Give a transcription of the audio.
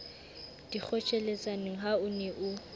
dikgotjheletsaneng ha o ne o